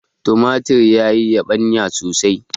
tumatir ya yi yabanya sosai